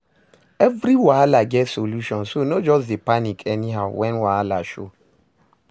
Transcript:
Evri wahala get solution so no jus dey panic anyhow wen wahala show